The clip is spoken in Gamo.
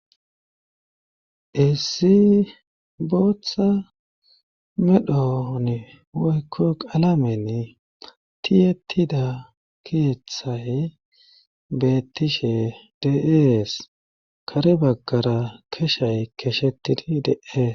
issi booththa medhon woykko alamen tiyetida keeththay bettishe deies kare baggara keshay keshetidi de7ee